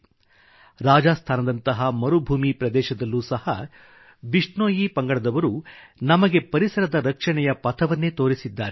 • ರಾಜಸ್ಥಾನದಂತಹ ಮರುಭೂಮಿ ಪ್ರದೇಶದಲ್ಲೂ ಸಹ ಬಿಷ್ಣೋಈ ಪಂಗಡದವರು ವೈಷ್ಣವರು ನಮಗೆ ಪರಿಸರದ ರಕ್ಷಣೆಯ ಪಥವನ್ನೇ ತೋರಿಸಿದ್ದಾರೆ